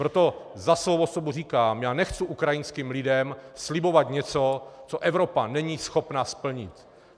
Proto za svou osobu říkám: Já nechci ukrajinským lidem slibovat něco, co Evropa není schopna splnit.